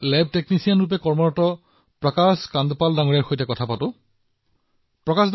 সেয়েহে আমি আমাৰ সহকৰ্মী প্ৰকাশ কান্দপালজীৰ সৈতে কথা পাতোঁ যি দিল্লীত লেব টেকনিচিয়ান হিচাপে কাম কৰে